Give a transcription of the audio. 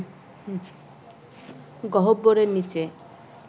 গহ্বরের নীচে